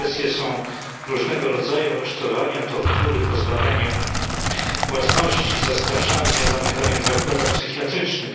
Represje są różnego rodzaju aresztowania, tortury, pozbawianie własności, zastraszanie, zamykanie w zakładach psychiatrycznych.